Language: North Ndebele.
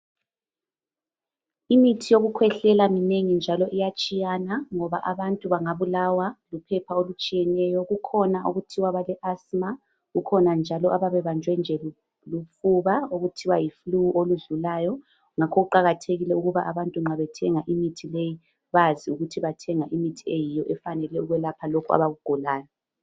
Imithi yokukhwehlela minengi njalo iyatshiyana ngoba abantu bangabulawa luphepha olutshiyeneyo. Kukhona okuthiwa bale asthma kukhona njalo abayabe bebanjwe lufuba okuthiwa yi flu oludlulayo. Ngakho kuqakathekile ukuthi abantu nxa bethenga imithi leyi bazi ukuthi bathenga imithi eyiyo efanele ukwelapha lokhu abakugulayo.